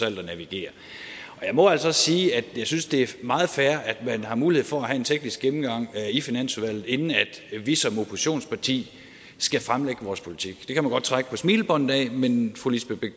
alt at navigere jeg må altså også sige at jeg synes det er meget fair at man har mulighed for at have en teknisk gennemgang i finansudvalget inden vi som oppositionsparti skal fremlægge vores politik det kan man godt trække på smilebåndet af men fru lisbeth